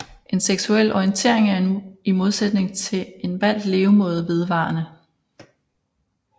En seksuel orientering er i modsætning til en valgt levemåde vedvarende